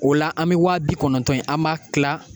O la an bɛ waa bi kɔnɔntɔn in an m'a kila